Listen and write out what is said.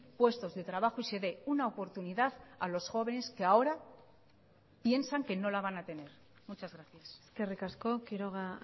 puestos de trabajo y se dé una oportunidad a los jóvenes que ahora piensan que no la van a tener muchas gracias eskerrik asko quiroga